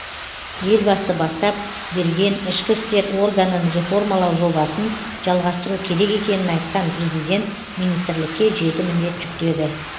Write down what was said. елбасы бастап берген ішкі істер органын реформалау жобасын жалғастыру керек екенін айтқан президент министрлікке жеті міндет жүктеді